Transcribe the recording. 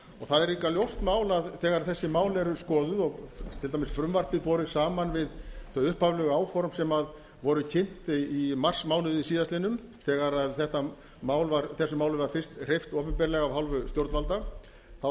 það er líka ljóst mál að þegar þessi mál eru skoðuð og til dæmis frumvarpið borið saman við þau upphaflegu áform sem voru kynnt í marsmánuði síðastliðnum þegar þessu máli var fyrst hreyft opinberlega af hálfu stjórnvalda þá